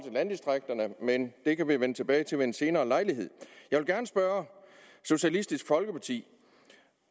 i landdistrikterne men det kan vi vende tilbage til ved en senere lejlighed jeg vil gerne spørge socialistisk folkeparti